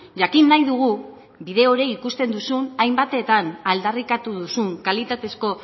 jakin nahi dugu bide hori ikusten duzun hainbatetan aldarrikatu duzun kalitatezko